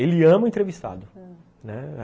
Ele ama o entrevistado, ãh, né